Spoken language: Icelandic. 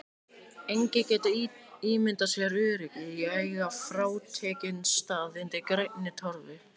Enginn getur ímyndað sér öryggið í að eiga frátekinn stað undir grænni torfu.